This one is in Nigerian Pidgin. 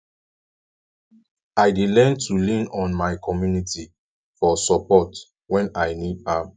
i dey learn to lean on my community for support when i need am